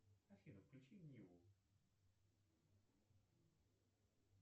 афина включи ниву